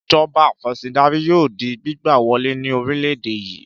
Ìjọba afẹ̀sìndarí yóò di gbígbà wọlé ní orílẹ̀-èdè yìí.